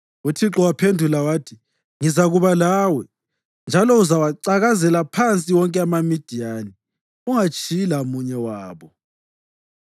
UThixo waphendula wathi, “Ngizakuba lawe, njalo uzawacakazela phansi wonke amaMidiyani, ungatshiyi lamunye wabo.”